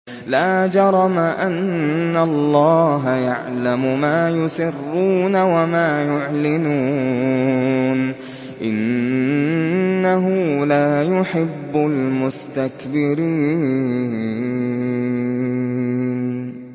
لَا جَرَمَ أَنَّ اللَّهَ يَعْلَمُ مَا يُسِرُّونَ وَمَا يُعْلِنُونَ ۚ إِنَّهُ لَا يُحِبُّ الْمُسْتَكْبِرِينَ